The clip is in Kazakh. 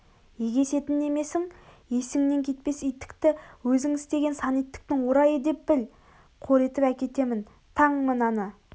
егесетін немесің есіңнен кетпес иттікті өзіңістеген сан иттіктің орайы деп біл қор етіп әкетемін таң мынаны